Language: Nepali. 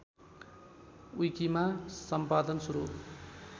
विकिमा सम्पादन सुरु